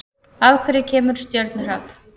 Af hverju kemur stjörnuhrap?